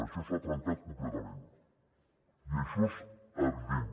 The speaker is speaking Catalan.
això s’ha trencat completament i això és evident